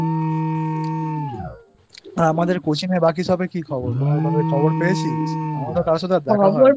আমাদের Coaching বাকি সবার কি খবর কোন খবর পেয়েছিস আমার তো কারোর সাথে দেখা হয়নাI